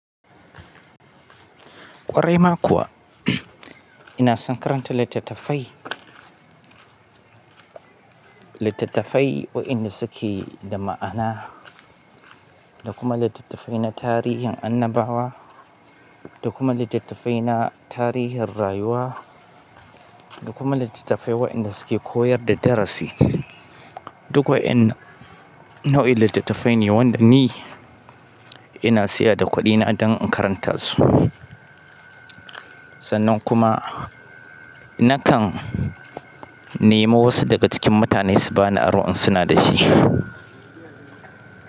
Ƙwarai ma kuwa, ina sankaran littattafai, littattafai waɗanda suke da ma'ana da kuma littattafai na tarihin annabawa da kuma littattafai na tarihin rayuwa da kuma littattafai waɗanda suke koyar da darasi. Dukkuwa in nau'in littattafai ne waɗanda ni ina siya da kuɗina don in karanta su. Sannan kuma nakan nemo wasu daga cikin mutane su bani aron in suna da shi.